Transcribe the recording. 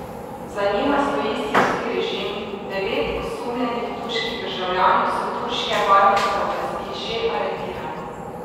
Za njima stoji sirski režim, devet osumljenih turških državljanov so turške varnostne oblasti že aretirale.